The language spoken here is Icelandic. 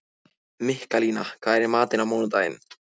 Mikkalína, hvað er í matinn á mánudaginn?